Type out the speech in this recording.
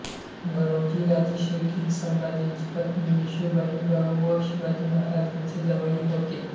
गणोजी राजेशिर्के हे संभाजीची पत्नी येसूबाईंचा भाऊ व शिवाजी महाराजांचे जावई होते